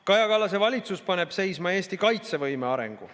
Kaja Kallase valitsus paneb seisma Eesti kaitsevõime arengu.